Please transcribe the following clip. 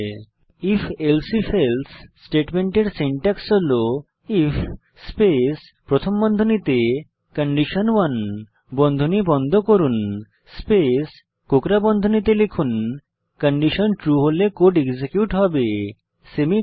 if elsif else স্টেটমেন্টের syntax হল IF space প্রথম বন্ধনীতে কন্ডিশন স্পেস বন্ধনী বন্ধ করুন কোকড়া বন্ধনীতে লিখুন কন্ডিশন ট্রু হলে কোড এক্সিকিউট হবে সেমিকোলন